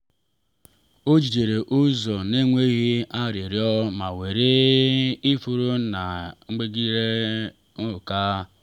o jidere ụzọ n’enweghị arịrịọ ma were ifuru na mgbaghara n’aka.